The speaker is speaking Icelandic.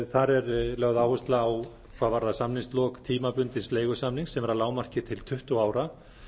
þar er lögð áhersla á hvað varðar samningslok tímabundins leigusamnings sem er að lágmarki til tuttugu ára